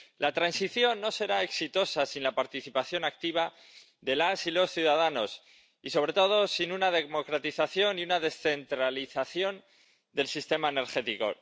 La transición no será exitosa sin la participación activa de las y los ciudadanos y, sobre todo, sin una democratización y una descentralización del sistema energético.